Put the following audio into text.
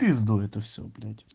пизду это все блять